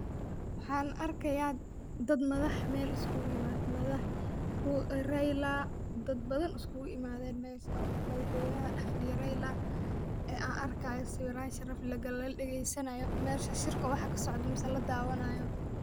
Waxan arkaya dad madax Mel isku imaate, raila dad badan iskugu imaaden mesha madax weynaha dhax fadhiya raila an arkayo sawiran sharaf leh aa lagale ladhageysanayo mesha shir waxa kasocda mise la dawaanayo